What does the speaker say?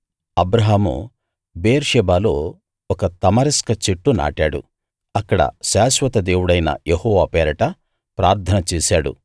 అబ్రాహాము బెయేర్షెబాలో ఒక తమరిస్క చెట్టు నాటాడు అక్కడ శాశ్వత దేవుడైన యెహోవా పేరట ప్రార్థన చేశాడు